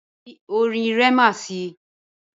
Fi orin Rema si!